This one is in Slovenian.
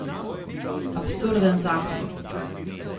Absurden zakon.